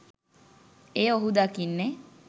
එය ඔහු දකින්නේ